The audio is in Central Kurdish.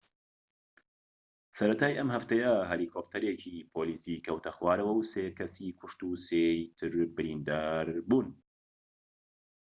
سەرەتای ئەم هەفتەیە هەلیکۆپتەرێکی پۆلیسی کەوتە خوارەوە و سێ کەسی کوشت و سێی تر بریندار بوون